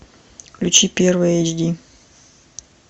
включи первый эйч ди